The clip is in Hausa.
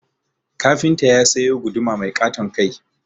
Kafinta ya sayo guduma mai ƙaton kai